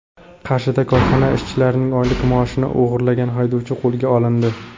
Qarshida korxona ishchilarining oylik maoshini o‘g‘irlagan haydovchi qo‘lga olindi.